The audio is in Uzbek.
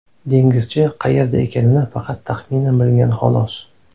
Dengizchi qayerda ekanini faqat taxminan bilgan xolos.